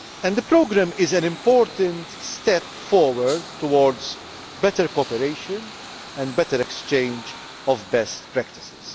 The programme is an important step forward towards better cooperation and better exchange of best practice.